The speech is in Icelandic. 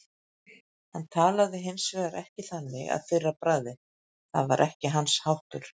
Hann talaði hins vegar ekki þannig að fyrra bragði, það var ekki hans háttur.